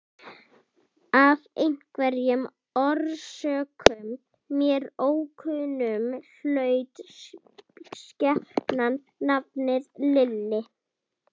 Af einhverjum orsökum, mér ókunnum, hlaut skepnan nafnið Lilli.